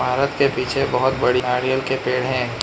इमारत के पीछे बहुत बड़ी नारियल के पेड़ हैं।